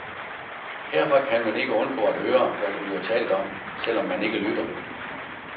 Herfra kan man ikke undgå at høre, hvad der bliver talt om, selvom man ikke lytter.